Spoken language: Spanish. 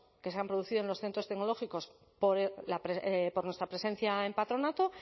que se han producido en los centros tecnológicos por nuestra presencia en patronato